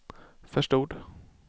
förstod